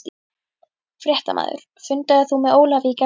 Fréttamaður: Fundaðir þú með Ólafi í gærkvöld?